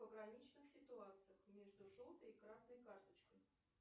пограничных ситуациях между желтой и красной карточкой